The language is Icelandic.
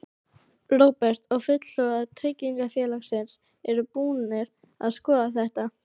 Róbert: Og fulltrúar tryggingafélagsins eru búnir að skoða þetta?